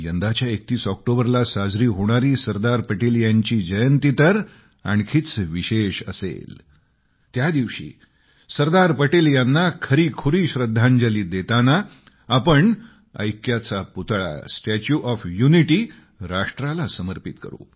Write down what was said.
यंदाच्या 31 ऑक्टोबरला साजरी होणारी सरदार पटेल यांची जयंती तर आणखीच विशेष असेल त्या दिवशी सरदार पटेल यांना खरीखुरी श्रद्धांजली देताना आपण ऐक्याचा पुतळा स्टॅच्यु ऑफ युनिटी राष्ट्राला समर्पित करू